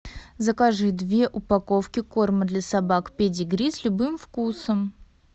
закажи две упаковки корма для собак педигри с любым вкусом